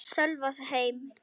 Sölva heim.